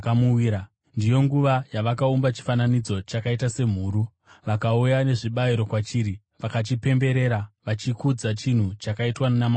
Ndiyo nguva yavakaumba chifananidzo chakaita semhuru. Vakauya nezvibayiro kwachiri vakachipemberera vachikudza chinhu chakaitwa namaoko avo.